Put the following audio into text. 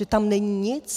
Že tam není nic?